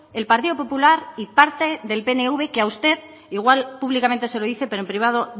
el partido popular y parte del pnv que a usted igual públicamente se lo dice pero en privado